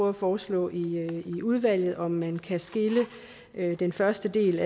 at foreslå i udvalget om man skal skille den første del